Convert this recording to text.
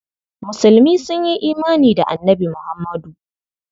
Musulmi sun yi imani da Annabi Muhammadu.